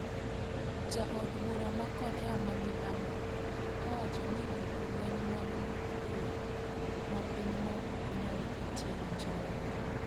Ja od bura ma Korea ma milambo owacho ni gik lweny mag nyuklia ma pinyno ok nyal ketie winjruok.